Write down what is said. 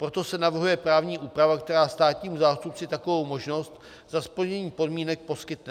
Proto se navrhuje právní úprava, která státnímu zástupci takovou možnost za splněných podmínek poskytne.